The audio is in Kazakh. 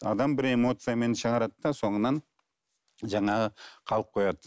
адам бір эмоциямен шығарады да соңынан жаңағы қалып қояды